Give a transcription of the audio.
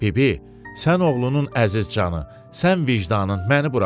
Bibi, sən oğlunun əziz canı, sən vicdanın, məni burax.